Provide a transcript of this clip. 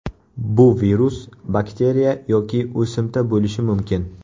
Bu virus, bakteriya yoki o‘simta bo‘lishi mumkin.